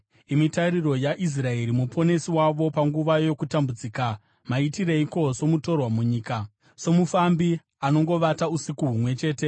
Imi Tariro yaIsraeri, Muponesi wavo panguva yokutambudzika, maitireiko somutorwa munyika, somufambi anongovata usiku humwe chete?